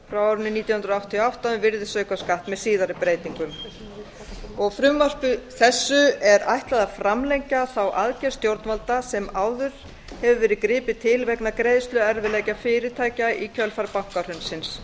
nítján hundruð áttatíu og átta um virðisaukaskatt með síðari breytingum frumvarpi þessu er ætlað að framlengja þá aðgerð stjórnvalda sem áður hefur verið gripið til vegna greiðsluerfiðleika fyrirtækja í kjölfar bankahrunsins